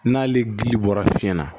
N'ale gili bɔra fiɲɛ na